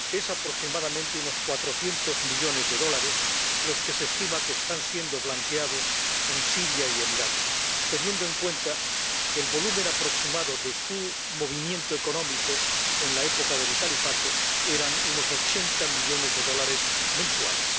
Son aproximadamente unos 400 millones de dólares los que se estima que están siendo blanqueados en Siria y en Irak, teniendo en cuenta que el volumen aproximado de su movimiento económico, en la época del califato, era de unos 80 millones de dólares mensuales.